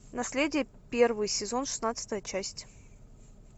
наследие первый сезон шестнадцатая часть